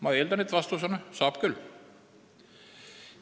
Ma eeldan, et vastus on, et saab küll.